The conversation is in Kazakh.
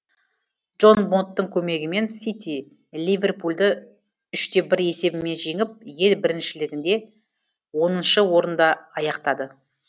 джон бондтың көмегімен сити ливерпульды үште бір есебімен жеңіп ел біріншілігінде оныншы орында аяқтады